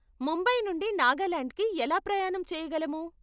ముంబై నుండి నాగాలాండ్కి ఎలా ప్రయాణం చేయగలము?